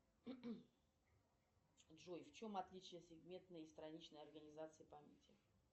джой в чем отличие сегментной страничной организации памяти